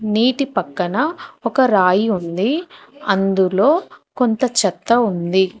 నీటి పక్కన ఒక రాయి ఉంది అందులో కొంత చెత్త ఉంది.